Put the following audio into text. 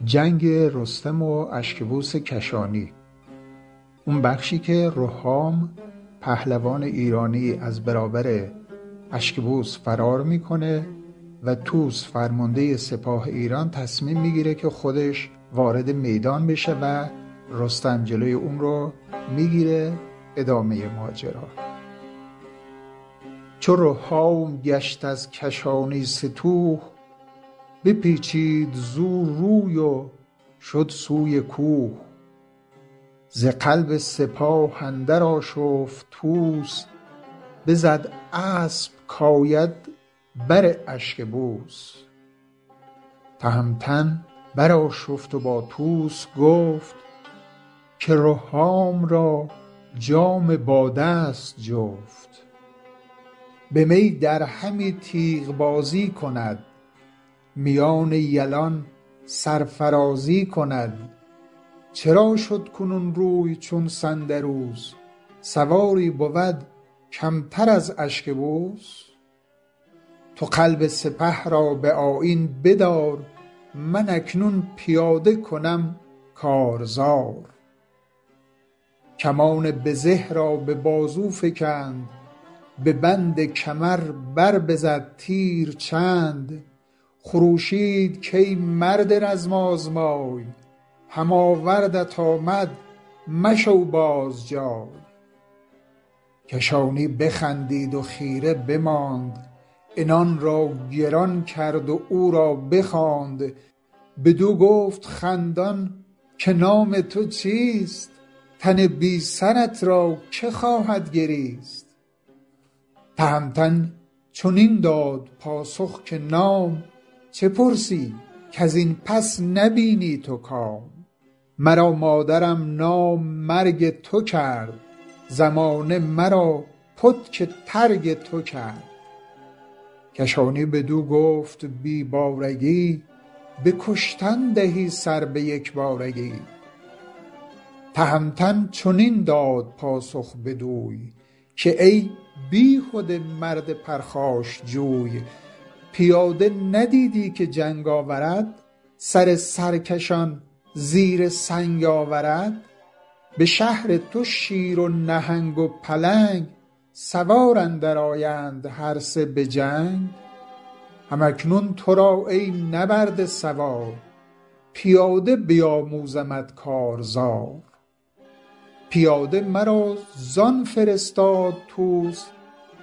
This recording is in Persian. دلیری کجا نام او اشکبوس همی بر خروشید بر سان کوس بیامد که جوید ز ایران نبرد سر هم نبرد اندر آرد به گرد بشد تیز رهام با خود و گبر همی گرد رزم اندر آمد به ابر برآویخت رهام با اشکبوس برآمد ز هر دو سپه بوق و کوس بر آن نامور تیرباران گرفت کمانش کمین سواران گرفت جهان جوی در زیر پولاد بود به خفتانش بر تیر چون باد بود نبد کارگر تیر بر گبر اوی از آن تیزتر شد دل جنگجوی به گرز گران دست برد اشکبوس زمین آهنین شد سپهر آبنوس برآهیخت رهام گرز گران غمی شد ز پیکار دست سران چو رهام گشت از کشانی ستوه بپیچید زو روی و شد سوی کوه ز قلب سپاه اندر آشفت طوس بزد اسپ کاید بر اشکبوس تهمتن برآشفت و با طوس گفت که رهام را جام باده ست جفت به می در همی تیغ بازی کند میان یلان سرفرازی کند چرا شد کنون روی چون سندروس سواری بود کمتر از اشکبوس تو قلب سپه را به آیین بدار من اکنون پیاده کنم کارزار کمان به زه را به بازو فگند به بند کمر بر بزد تیر چند خروشید کای مرد رزم آزمای هم آوردت آمد مشو باز جای کشانی بخندید و خیره بماند عنان را گران کرد و او را بخواند بدو گفت خندان که نام تو چیست تن بی سرت را که خواهد گریست تهمتن چنین داد پاسخ که نام چه پرسی کزین پس نبینی تو کام مرا مادرم نام مرگ تو کرد زمانه مرا پتک ترگ تو کرد کشانی بدو گفت بی بارگی به کشتن دهی سر به یک بارگی تهمتن چنین داد پاسخ بدوی که ای بیهده مرد پرخاشجوی پیاده ندیدی که جنگ آورد سر سرکشان زیر سنگ آورد به شهر تو شیر و نهنگ و پلنگ سوار اندر آیند هر سه به جنگ هم اکنون ترا ای نبرده سوار پیاده بیاموزمت کارزار پیاده مرا زان فرستاد طوس